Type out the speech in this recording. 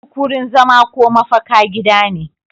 Duk wurin zama ko mafaka gida ne